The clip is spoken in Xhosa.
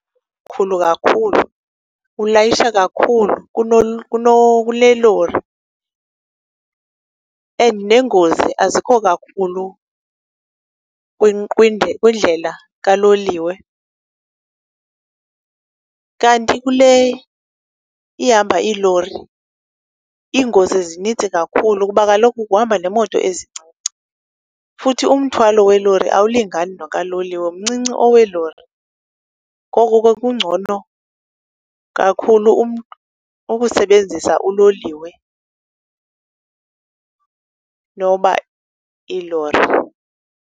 Khulu kakhulu, ulayisha kakhulu kule lori and neengozi azikho kakhulu kwindlela kaloliwe, kanti kule ihamba iilori iingozi zinintsi kakhulu kuba kaloku kuhamba nemoto ezincinci. Futhi umthwalo welori awulingani nokaloliwe, mncinci oweelori. Ngoko ke kungcono kakhulu umntu ukusebenzisa uloliwe noba iilori.